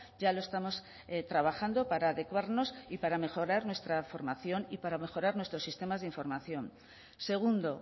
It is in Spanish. ya lo estamos trabajando para adecuarnos y para mejorar nuestra formación y para mejorar nuestros sistemas de información segundo